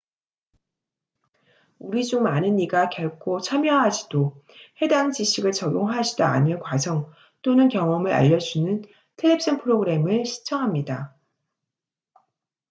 우리 중 많은 이가 결코 참여하지도 해당 지식을 적용하지도 않을 과정 또는 경험을 알려주는 텔레비전 프로그램을 시청합니다